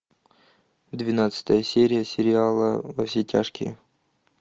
двенадцатая серия сериала во все тяжкие